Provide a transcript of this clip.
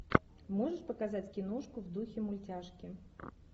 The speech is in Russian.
можешь показать киношку в духе мультяшки